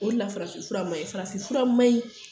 O de la farafinfura maɲi farafinfura maɲi